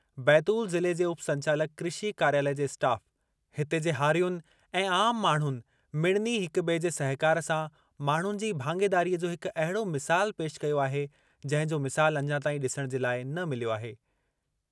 बैतूल ज़िले जे उपसंचालक कृषि कार्यालय जे स्टाफ़, हिते जे हारियुनि ऐं आम माण्हुनि मिड़नी हिक-बि॒ए जे सहिकार सां माण्हुनि जी भाङेदारीअ जो हिक अहिड़ो मिसाल पेशि कयो आहे, जंहिं जो मिसाल अञा ताईं डि॒सणु जे लाइ न मिलियो आहे।